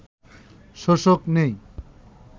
শোষক নেই